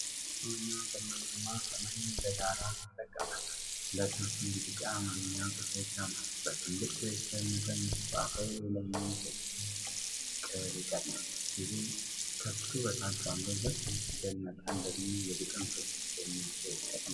ጨለማማ እና ደመናማ ሰማይን እንደ ዳራ ይጠቀማል፡፡ ሁለት መስመር ቢጫ የአማርኛ ጽሑፎች አሉ፡፡ በትልቁ የፊደል መጠን የተጻፈው የላይኛው ጽሑፍ "ፍቅር ይቀድማል" ሲል፣ ከሱ በታች ባለው በትንሹ የፊደል መጠን ደግሞ "የግጥም ስብስብ" የሚል ጽሑፍ ተቀምጧል።